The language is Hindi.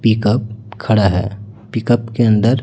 पिकअप खड़ा हैं पिकअप के अंदर--